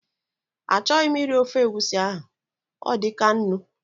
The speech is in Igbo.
A chọghị m iri ofe egusi ahụ, ọ dịkaa nnu